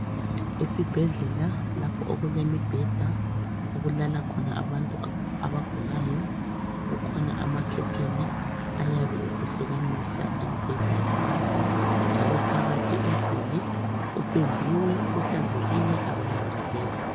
Esibhedlela lapho okulemibheda okulala khona abantu abagulayo. Kukhona amakhetheni ayabe esehlukanisa imibheda yabantu. Njalo phakathi umduli upendiwe, uhlanzekile awulangcekeza.